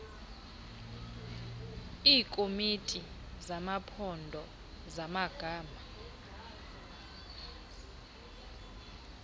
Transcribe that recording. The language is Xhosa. iikomiti zamaphondo zamagama